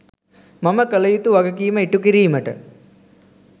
මම කළ යුතු වගකීම ඉටු කිරීමට